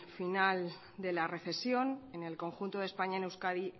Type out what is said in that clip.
final de la recesión en el conjunto de españa en euskadi